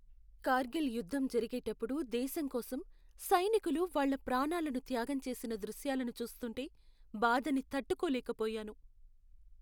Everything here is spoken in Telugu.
కార్గిల్ యుద్ధ జరిగేటప్పుడు దేశం కోసం సైనికులు వాళ్ళ ప్రాణాలను త్యాగం చేసిన దృశ్యాలను చూస్తుంటే బాధని తట్టుకోలేకపోయాను.